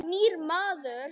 Nýr maður.